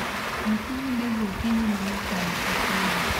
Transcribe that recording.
Bukuru ndege okinyi mang'ich mondo kik uol.